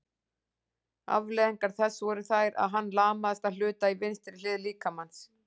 afleiðingar þess voru þær að hann lamaðist að hluta í vinstri hlið líkamans